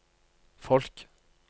folk